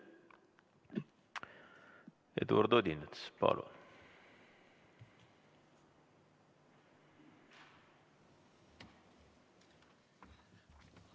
Eduard Odinets, palun!